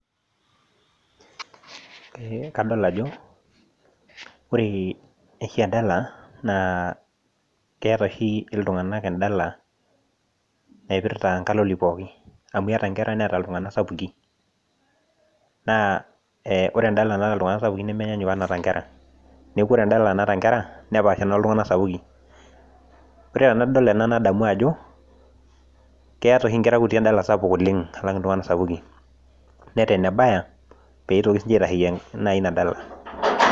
Ee kadol ajo ore oshi endala naa keeta oshi iltung'anak endala naipirta nkaloli pookin amu eeta nkera neeta iltung'anak sapukin, naa ore endala naata iltung'anak sapukin nemenyanyuk onaata nkera neeku ore endala naata nkera nepaasha onoltung'anak sapukin ore enadol ena nadamu ajo keeta oshi nkera kutitik endala sapuk oleng' alang' iltung'anak sapukin neeta enebaya pee itokini siinche naa ina dala.